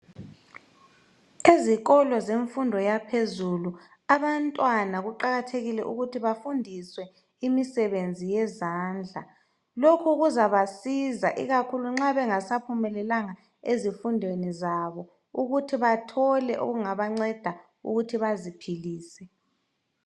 Ezikolo zemfundo yaphezulu abantwana kuqakathekile ukuthi bafundiswe imisebenzi yezandla. Lokhu kuzabasiza ikakhulu nxa bengasaphumelelanga ezifundweni zabo ukuthi bathole okungabanceda ukuthi baziphilise.